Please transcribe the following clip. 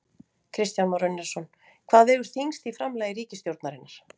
Kristján Már Unnarsson: Hvað vegur þyngst í framlagi ríkisstjórnarinnar?